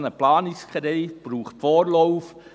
Ein solcher Planungskredit braucht einen Vorlauf.